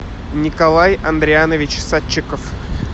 николай андрианович садчиков